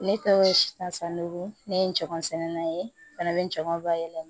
Ne tɔgɔ ye asani ne ye n jama sɛnɛnina ye a bɛ ngɔnɔnba yɛlɛma